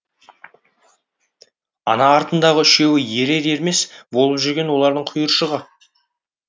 ана артындағы үшеуі ерер ермес болып жүрген олардың құйыршығы